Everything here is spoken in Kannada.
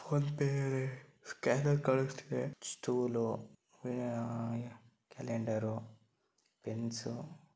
ಒಂದು ಸ್ಕ್ಯಾನರ್ ಕಾಣಸ್ತಾಇದೆ ಮತ್ತೆ ಸ್ಟೂಲ್ ಕ್ಯಾಲೆಂಡರ್ ಪೆನ್ಸ್ .